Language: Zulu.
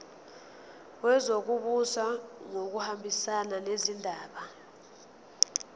wezokubusa ngokubambisana nezindaba